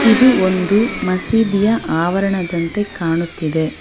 ಇದು ಒಂದು ಮಸೀದಿಯ ಅವರಣದಂತೆ ಕಾಣುತ್ತಿದೆ.